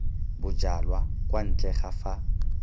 bojalwa kwa ntle ga fa